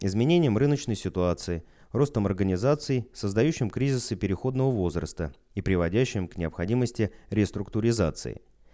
изменением рыночной ситуации ростом организации создающим кризисы переходного возраста и приводящим к необходимости реструктуризации